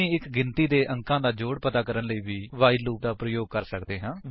ਅਸੀ ਇੱਕ ਗਿਣਤੀ ਦੇ ਅੰਕਾਂ ਦਾ ਜੋੜ ਪਤਾ ਕਰਨ ਲਈ ਵੀ ਵਾਈਲ ਲੂਪ ਦਾ ਪ੍ਰਯੋਗ ਕਰ ਸੱਕਦੇ ਹਾਂ